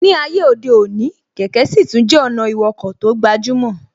Ní ayé òde òní, kẹ̀kẹ́ sì tún jẹ́ ọ̀nà ìwọkọ̀ tó gbajúmọ̀